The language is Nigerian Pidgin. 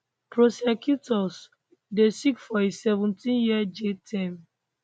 prosecutors dey seek for a 17year jail term